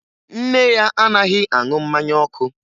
Nne ya anaghị aṅụ mmanya ọkụ